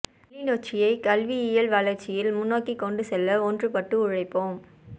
கிளிநொச்சியை கல்வியில் வளர்ச்சியில் முன்னோக்கி கொண்டு செல்ல ஒன்று பட்டு உழைப்போம்